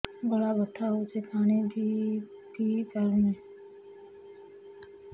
ଗଳା ବଥା ହଉଚି ପାଣି ବି ପିଇ ପାରୁନି